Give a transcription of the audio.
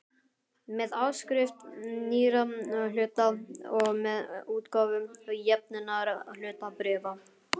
með áskrift nýrra hluta og með útgáfu jöfnunarhlutabréfa.